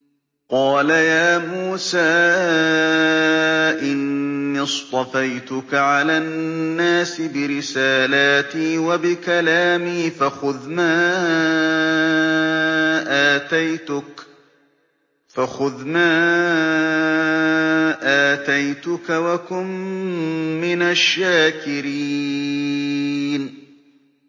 قَالَ يَا مُوسَىٰ إِنِّي اصْطَفَيْتُكَ عَلَى النَّاسِ بِرِسَالَاتِي وَبِكَلَامِي فَخُذْ مَا آتَيْتُكَ وَكُن مِّنَ الشَّاكِرِينَ